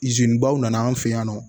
baw nana an fɛ yan nɔ